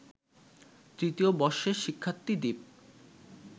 তৃতীয় বর্ষের শিক্ষার্থী দীপ